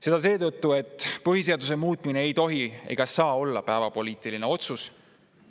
Seda seetõttu, et põhiseaduse muutmine ei tohi ega saa olla päevapoliitiline otsus.